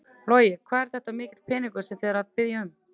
Logi: Hvað er þetta mikill peningur sem þið eruð að biðja um?